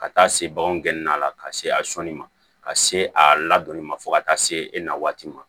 Ka taa se baganw gɛnna a la ka se a sɔnni ma ka se a ladonni ma fo ka taa se e na waati ma